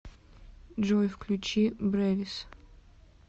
джой включи брэвис